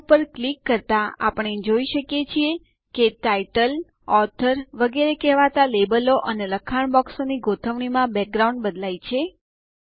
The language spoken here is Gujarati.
તે ઉપર ક્લિક કરતા આપણે જોઈ શકીએ કે ટાઇટલ ઓથોર વગેરે કહેતા લેબલો અને લખાણ બોક્સ ની ગોઠવણીમાં બેકગ્રાઉન્ડ બદલાય છે